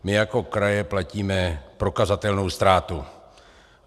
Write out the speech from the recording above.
My jako kraje platíme prokazatelnou ztrátu.